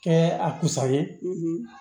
Kɛ a kusa ye